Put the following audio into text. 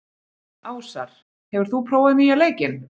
Ásar, hefur þú prófað nýja leikinn?